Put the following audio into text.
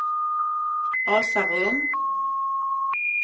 Asarum